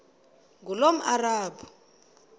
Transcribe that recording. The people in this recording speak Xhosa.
ngulomarabu